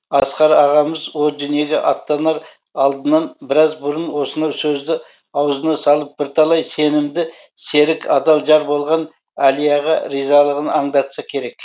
асқар ағамыз о дүниеге аттанар алдынан біраз бұрын осынау сөзді аузына салып бірталай сенімді серік адал жар болған әлияға ризалығын аңдатса керек